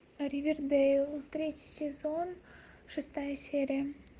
ривердэйл третий сезон шестая серия